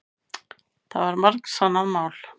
Það var margsannað mál.